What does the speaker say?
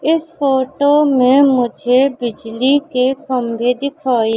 इस फोटो में मुझे बिजली के खंभे दिखाई--